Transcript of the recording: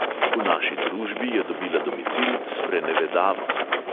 V naši družbi je dobila domicil sprenevedavost.